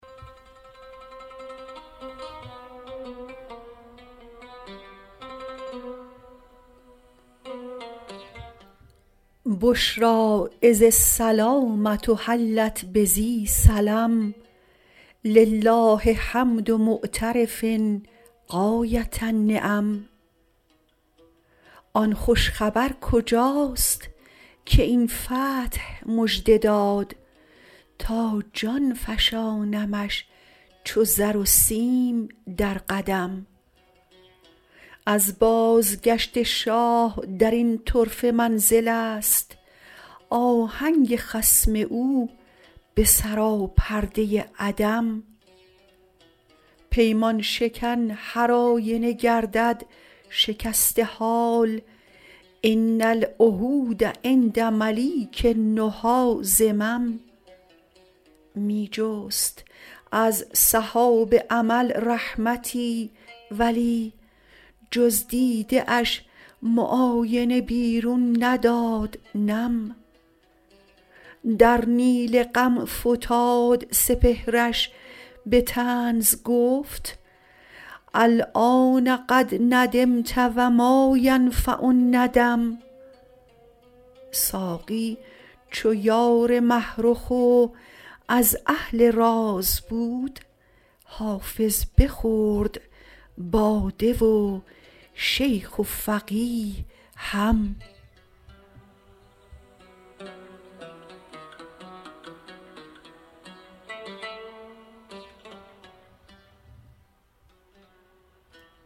بشری اذ السلامة حلت بذی سلم لله حمد معترف غایة النعم آن خوش خبر کجاست که این فتح مژده داد تا جان فشانمش چو زر و سیم در قدم از بازگشت شاه در این طرفه منزل است آهنگ خصم او به سراپرده عدم پیمان شکن هرآینه گردد شکسته حال ان العهود عند ملیک النهی ذمم می جست از سحاب امل رحمتی ولی جز دیده اش معاینه بیرون نداد نم در نیل غم فتاد سپهرش به طنز گفت الآن قد ندمت و ما ینفع الندم ساقی چو یار مه رخ و از اهل راز بود حافظ بخورد باده و شیخ و فقیه هم